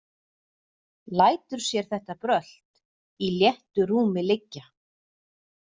Lætur sér þetta brölt í léttu rúmi liggja.